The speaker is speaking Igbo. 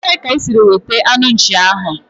Ebee ka isiri wete anu nchi ahu?